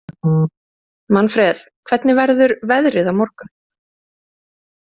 Manfreð, hvernig verður veðrið á morgun?